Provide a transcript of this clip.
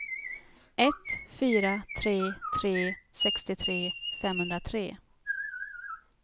ett fyra tre tre sextiotre femhundratre